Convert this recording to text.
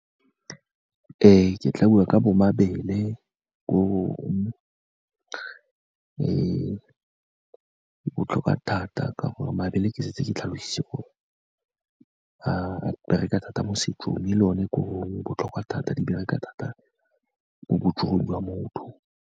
Ee, ke tla bua ka bo mabele, bo e botlhokwa thata, ka gore mabele ke setse ke tlhalose gore a bereka thata mo setsong, e le o ne korong, botlhokwa thata di bereka thata mo botsogong jwa motho.